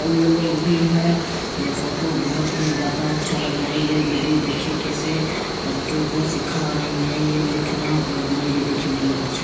ये लोग भी हैं। ये फोटो बोहोत ही ज़्यादा अच्छा लग रहा है। ये दीदी देखिये कैसे बच्चों को सीखा रही है। ये लिखना पढ़ना ये देखिये बोहोत अच्छा --